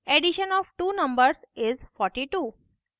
addition of two numbers is 42